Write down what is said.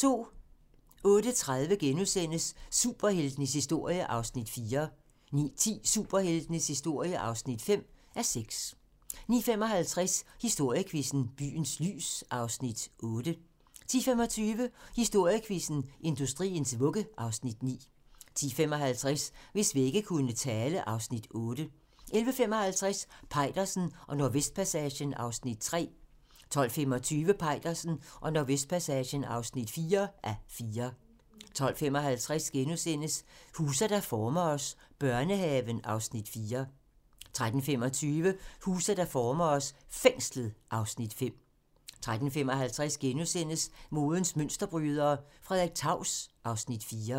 08:30: Superheltenes historie (4:6)* 09:10: Superheltenes historie (5:6) 09:55: Historiequizzen: Byens lys (Afs. 8) 10:25: Historiequizzen: Industriens vugge (Afs. 9) 10:55: Hvis vægge kunne tale (Afs. 8) 11:55: Peitersen og Nordvestpassagen (3:4) 12:25: Peitersen og Nordvestpassagen (4:4) 12:55: Huse, der former os: Børnehaven (Afs. 4)* 13:25: Huse, der former os: Fængslet (Afs. 5) 13:55: Modens mønsterbrydere: Frederik Taus (Afs. 4)*